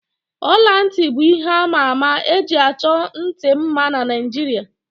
Ọla ntị bụ ihe àmà ama eji achọ ntị mma na Naijiria